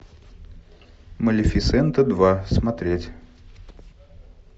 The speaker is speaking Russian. малефисента два смотреть